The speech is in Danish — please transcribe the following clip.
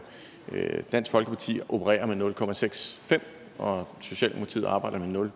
når dansk folkeparti opererer med nul procent og socialdemokratiet arbejder med nul